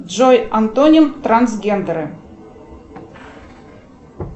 джой антоним трансгендеры